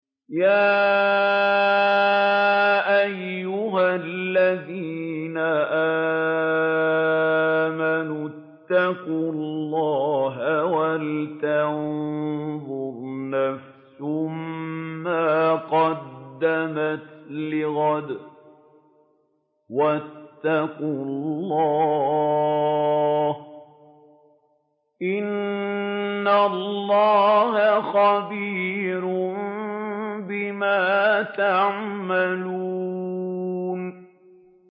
يَا أَيُّهَا الَّذِينَ آمَنُوا اتَّقُوا اللَّهَ وَلْتَنظُرْ نَفْسٌ مَّا قَدَّمَتْ لِغَدٍ ۖ وَاتَّقُوا اللَّهَ ۚ إِنَّ اللَّهَ خَبِيرٌ بِمَا تَعْمَلُونَ